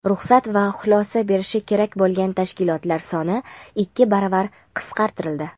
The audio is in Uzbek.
ruxsat va xulosa berishi kerak bo‘lgan tashkilotlar soni ikki baravar qisqartirildi.